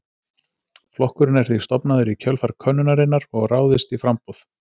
Flokkurinn er því stofnaður í kjölfar könnunarinnar og ráðist í framboð.